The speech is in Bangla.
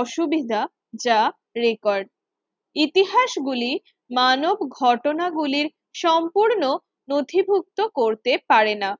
অসুবিধা যা রেকর্ড ইতিহাস গুলি মানব ঘটনাগুলির সম্পূর্ণ নথিভুক্ত করতে পারে না